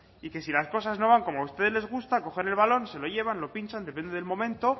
y que si las cosas no van como a ustedes les gusta coger el balón se lo llevan lo pinchan depende del momento